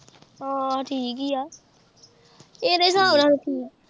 ਹਾਂ ਠੀਕ ਹੀ ਆ ਇਦੇ ਹਿਸਾਬ ਨਾਲ ਤਾਂ ਠੀਕ।